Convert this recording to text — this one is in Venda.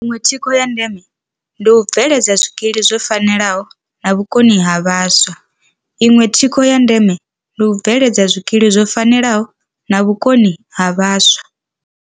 Iṅwe thikho ya ndeme ndi u bve ledza zwikili zwo fanelaho na vhukoni ha vhaswa. Iṅwe thikho ya ndeme ndi u bve ledza zwikili zwo fanelaho na vhukoni ha vhaswa.